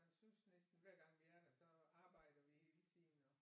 Han synes næsten hver gang vi er der så arbejder vi hele tiden og